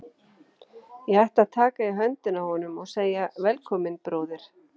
Ég ætti að taka í höndina á honum og segja: Velkominn, bróðir.